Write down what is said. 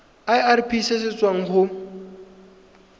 irp se se tswang go